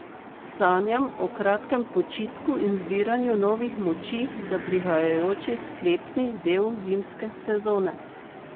Sanjam o kratkem počitku in zbiranju novih moči za prihajajoči sklepni del zimske sezone.